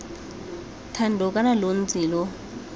thando kana lo ntse lo